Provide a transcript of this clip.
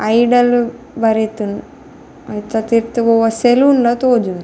Idle ಬರೆತ್ಂಡ್ ಅಂಚ ತಿರ್ತ್ ಒವಾ ಸಲೂನ್ಲ ತೊಜುಂಡು.